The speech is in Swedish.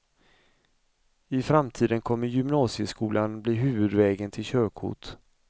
I framtiden kommer gymnasieskolan bli huvudvägen till körkort.